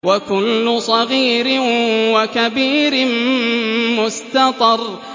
وَكُلُّ صَغِيرٍ وَكَبِيرٍ مُّسْتَطَرٌ